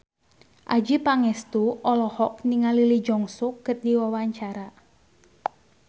Adjie Pangestu olohok ningali Lee Jeong Suk keur diwawancara